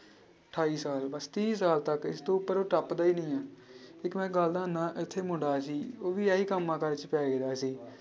ਅਠਾਈ ਸਾਲ ਬਸ ਤੀਹ ਸਾਲ ਤੱਕ ਇਸ ਤੋਂ ਉੱਪਰ ਟੱਪਦਾ ਹੀ ਨੀ ਹੈ ਇੱਕ ਮੈਂ ਗੱਲ ਦੱਸਦਾਂ ਇੱਥੇ ਮੁੰਡਾ ਸੀ ਉਹ ਵੀ ਇਹੀ ਕੰਮਾਂ ਕਾਰਾਂ 'ਚ ਪੈ ਗਿਆ ਸੀ।